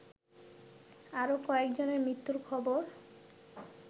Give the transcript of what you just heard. আরো কয়েকজনের মৃত্যুর খবর